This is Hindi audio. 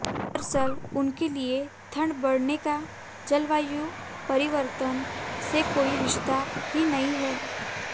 दरअसल उनके लिए ठंड बढऩे का जलवायु परिवर्तन से कोई रिश्ता ही नहीं है